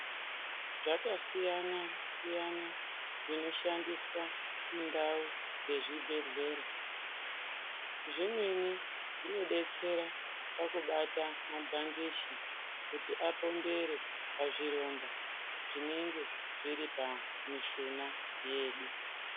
Zvakasiyanasiyana zvinoshandiswa mundau dzezvibhehlera zvimweni zvinodetsera pakubata mabhandichi kuti apombere pazvironda zvinenge zviri pamishuna yedu.